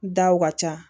Daw ka ca